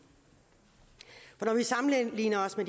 når vi sammenligner os med